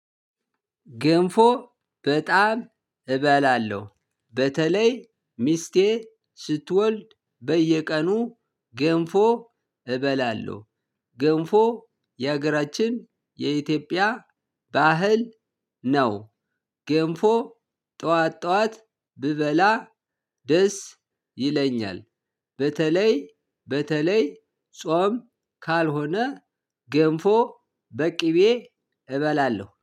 ገንፎ በጣም እበላለሁ በተለይ ሚስቴ ስትወልድ በየቀኑ ገንፎ እበላለሁ። ገንፎ ይሀገራችን የኢትዮጵያ ባህል ነው። ገንፎ ጠዋት ጠዋት ብበላ ደስ ይለኛል። በተለይ በተለይ ጾም ካልሆነ ገንፎ በቅቤ እበላለሁ